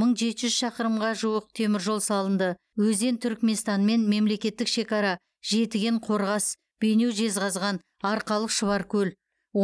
мың жеті жүз шақырымға жуық теміржол салынды өзен түрікменстанмен мемлекеттік шекара жетіген қорғас бейнеу жезқазған арқалық шұбаркөл